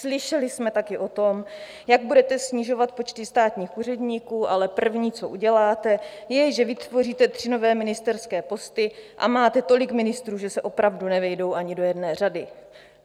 Slyšeli jsme taky o tom, jak budete snižovat počty státních úředníků, ale první, co uděláte, je, že vytvoříte tři nové ministerské posty, a máte tolik ministrů, že se opravdu nevejdou ani do jedné řady.